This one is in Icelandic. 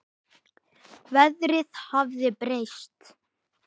Veðrið hafði breyst.